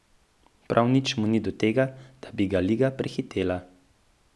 Prav nič mu ni do tega, da bi ga Liga prehitela.